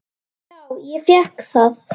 Á að bera í góulok.